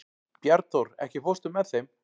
Bjarnþór, ekki fórstu með þeim?